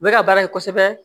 U bɛ ka baara in kosɛbɛ